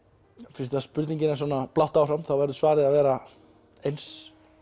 fyrst spurningin er svona blátt áfram verður svarið að vera eins